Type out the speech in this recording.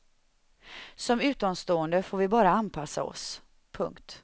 Som utomstående får vi bara anpassa oss. punkt